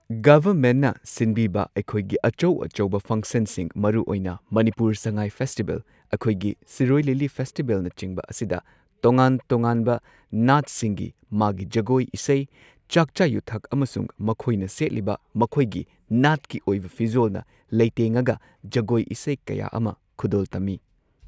ꯒꯚꯔꯃꯦꯟꯠꯅ ꯁꯤꯟꯕꯤꯕ ꯑꯩꯈꯣꯏꯒꯤ ꯑꯆꯧ ꯑꯆꯧꯕ ꯐꯪꯁꯟꯁꯤꯡ ꯃꯔꯨꯑꯣꯏꯅ ꯃꯅꯤꯄꯨꯔ ꯁꯉꯥꯏ ꯐꯦꯁꯇꯤꯕꯦꯜ ꯑꯩꯈꯣꯏꯒꯤ ꯁꯤꯔꯣꯏ ꯂꯤꯂꯤ ꯐꯦꯁꯇꯤꯕꯦꯜꯅꯆꯤꯡꯕ ꯑꯁꯤꯗ ꯇꯣꯉꯥꯟ ꯇꯣꯉꯥꯟꯕ ꯅꯥꯠꯁꯤꯡꯒꯤ ꯃꯥꯒꯤ ꯖꯒꯣꯏ ꯏꯁꯩ ꯆꯥꯛꯆꯥ ꯌꯨꯊꯛ ꯑꯃꯁꯨꯡ ꯃꯈꯣꯏꯅ ꯁꯦꯠꯂꯤꯕ ꯃꯈꯣꯏꯒꯤ ꯅꯥꯠꯀꯤ ꯑꯣꯏꯕ ꯐꯤꯖꯣꯜꯅ ꯂꯩꯇꯦꯡꯉꯒ ꯖꯒꯣꯏ ꯏꯁꯩ ꯀꯌꯥ ꯑꯃ ꯈꯨꯗꯣꯜ ꯇꯝꯃꯤ꯫